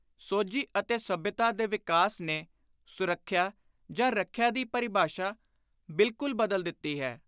ਸੋਝੀ ਅਤੇ ਸੱਭਿਅਤਾ ਦੇ ਵਿਕਾਸ ਨੇ ਸੁਰੱਖਿਆ ਜਾਂ ਰੱਖਿਆ ਦੀ ਪਰਿਭਾਸ਼ਾ ਬਿਲਕੁਲ ਬਦਲ ਦਿੱਤੀ ਹੈ।